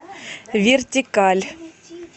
вертикаль